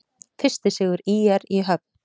Fyrsti sigur ÍR í höfn